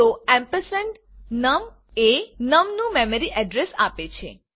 તો ampersand num એ num નું મેમરી અડ્રેસ આપે છે